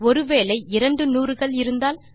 ஒரு வேளை இரண்டு 100 கள் இருந்தால்